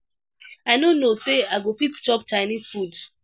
I no know say I go fit chop Chinese food.